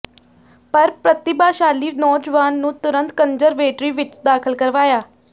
ਪਰ ਪ੍ਰਤਿਭਾਸ਼ਾਲੀ ਨੌਜਵਾਨ ਨੂੰ ਤੁਰੰਤ ਕਨਜ਼ਰਵੇਟਰੀ ਵਿਚ ਦਾਖਲ ਕਰਵਾਇਆ